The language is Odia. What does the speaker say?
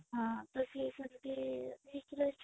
ହଁ ତ ସିଏ ସେମିତି ହେଇକି ରହିଛି